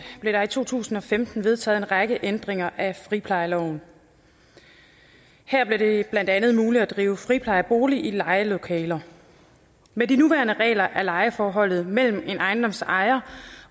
blev der i to tusind og femten vedtaget en række ændringer af friplejeloven her blev det blandt andet muligt at drive friplejeboliger i lejede lokaler med de nuværende regler er lejeforholdet mellem en ejendoms ejer